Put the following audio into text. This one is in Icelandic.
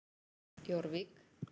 Jórvík